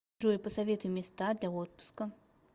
джой посоветуй места для отпуска